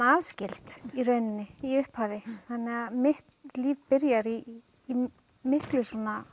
aðskild í rauninni í upphafi þannig að mitt líf byrjar í miklu